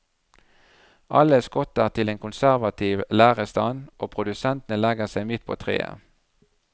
Alle skotter til en konservativ lærerstand og produsentene legger seg midt på treet.